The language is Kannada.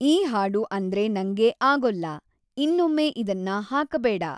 ಈ ಹಾಡು ಅಂದ್ರೆ ನಂಗೆ ಆಗೊಲ್ಲ ಇನ್ನೊಮ್ಮೆ ಇದನ್ನ ಹಾಕಬೇಡ.